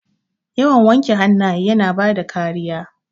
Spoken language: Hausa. Yawan wanke hannaye yana bada kariya.